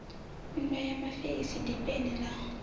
nndwa ya mafeisi dipeni la